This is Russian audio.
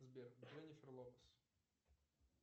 сбер дженнифер лопес